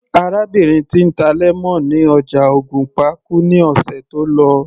Arábìnrin tí ń ta lemon ní ọjà ògùnpa kú ní ọ̀sẹ̀ tó lọ